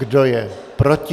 Kdo je proti?